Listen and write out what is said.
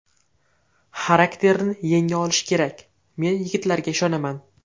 Xarakterni yenga olish kerak, men yigitlarga ishonaman.